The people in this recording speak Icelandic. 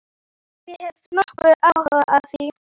Ég veit ekki hvort ég hef nokkurn áhuga á því.